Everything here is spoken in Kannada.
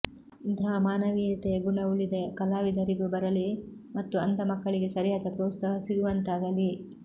ಇಂತಹ ಮಾನವೀಯತೆಯ ಗುಣ ಉಳಿದ ಕಲಾವಿದರಿಗೂ ಬರಲಿ ಮತ್ತು ಅಂಧ ಮಕ್ಕಳಿಗೆ ಸರಿಯಾದ ಪ್ರೋತ್ಸಾಹ ಸಿಗುವಂತಾಗಲಿ